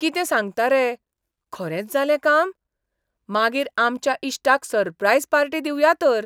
कितें सांगता रे! खरेंच जालें काम? मागीर आमच्या इश्टाक सररप्रायज पार्टी दिवया तर.